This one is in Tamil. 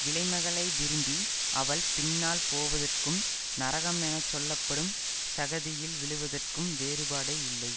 விலைமகளை விரும்பி அவள் பின்னால் போவதற்கும் நரகம் என சொல்ல படும் சகதியில் விழுவதற்கும் வேறுபாடே இல்லை